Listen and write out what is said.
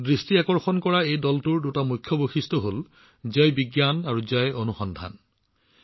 মোৰ মনোযোগ আকৰ্ষণ কৰা এই দলটোৰ দুটা মহান বৈশিষ্ট্য হৈছে জয় বিজ্ঞান আৰু জয় অনুসন্ধান